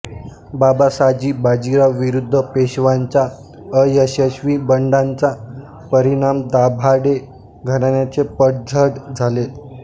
बाबासाजी बाजीराव विरुद्ध पेशव्यांचा अयशस्वी बंडाचा परिणाम दाभाडे घराण्याचे पडझड झाले